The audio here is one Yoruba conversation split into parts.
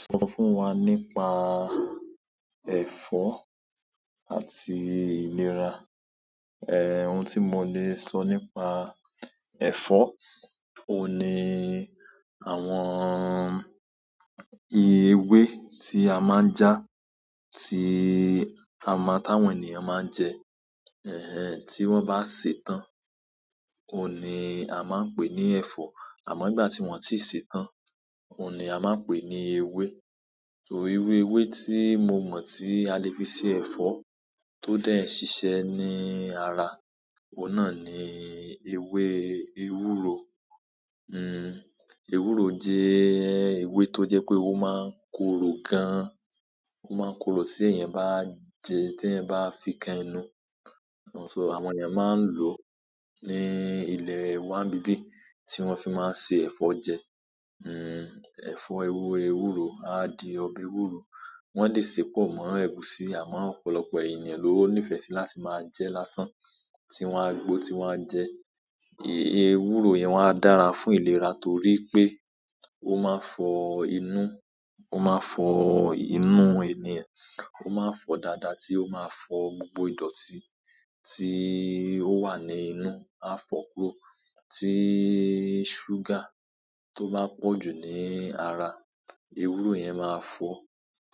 Sọ fún wa nípa ẹ̀fọ́ àti ìlera. Ẹ̀, ohun tí mo le sọ nípa ẹ̀fọ́, òní-- àwọn ìwé tí a máa ń ja, tí ama táwọn ènìyàn máa ń jẹ, ẹhẹn, tí wọ́n bá sè tán, òní a máa ń pè ní ẹ̀fọ́. Àmọ́ nígbà tí wọ́n ò tíì sè tán, òní a máa ń pè ní ewé. So irú ewé tí mo mọ̀ tí a lè fi se ẹ̀fọ́ tó dé ẹ̀ ṣiṣẹ́ ní ara, òun na ni ewé ewúro. Hmm ewúro jẹ́ ewé tó jẹ́ pé ó máa ń korò gan. Ó máa ń korò tí èèyàn bá jẹ, tí ẹ bá fi kan ẹnu so àwọn èyan máa ń lò ní ilẹ̀ wa níbí tí wọ́n fi máa ń ṣe ẹ̀fọ́ jẹ. Hmm ẹ̀fọ́ ewé ewúro a di ọbẹ̀ ewúro. Wọ́n lè sè pọ̀ mọ́ ẹ̀gúsí àmọ́ ọ̀pọ̀lọpọ̀ ènìyàn ló nífẹ̀ẹ́ sí láti máa jẹ lásán, tí wọ́n á gbó, tí wọ́n á jẹ. Ewúro yẹn wọ́n á dára fún ìlera torí pé ó máa ń fọ inú, ó máa ń fọ inú ènìyàn, ó máa ń fọ dáadáa tí ó máa ń fọ gbogbo ìdọ̀tí tí ó wà ní inú. A fọ́ kó tí ṣúgà tó ba pọ̀ jù ní ara, ewúro yẹn máa fọ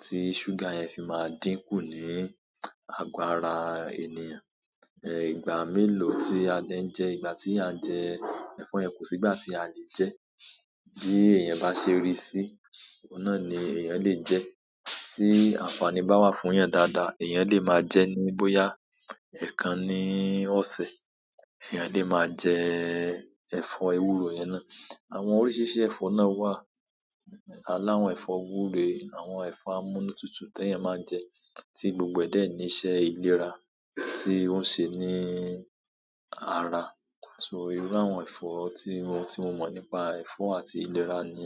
tí ṣúgà yẹn fi máa dínkù ní agbo ara ènìyàn. Ẹ, ìgbà mẹ́lo, tí a dé ń jẹ ìgbà tí à jẹ ẹ̀fọ́ yẹn. Kò sí ìgbà tí a lè jẹ. Bi eeyan ba se ri si, ni eeyan le je. Tí àǹfààní bá wà fún èèyàn dáadáa, èèyàn lè máa jẹ ní bóyá èèkàn ni ọ̀sẹ̀, èèyàn lè máa jẹ ẹ̀fọ́ ewúro yẹn ná. Àwọn oríṣiríṣi ẹ̀fọ́ ná wà. Aláwọn ẹ̀fọ́ wure, àwọn ẹ̀fọ́ amúnútutù tí èèyàn máa ń jẹ, tí gbogbo dẹ́ ní iṣẹ́ ìlera tí ó ń ṣe ní ara. So irú àwọn ẹ̀fọ́ tí mo, tí mo mọ̀ nípa ẹ̀fọ́ àti ìlera ni.